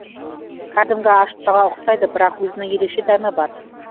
кәдімгі ашытпаға ұқсайды бірақ өзінің ерекше дәмі бар